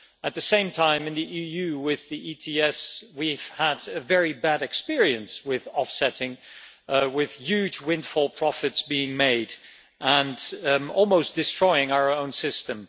At the same time, in the EU with the ETS we've had a very bad experience with offsetting, with huge windfall profits being made and almost destroying our system.